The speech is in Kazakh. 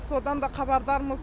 содан да хабардармыз